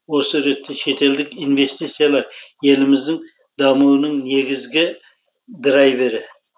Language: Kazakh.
осы ретте шетелдік инвестициялар еліміздің дамуының негізгі драйвері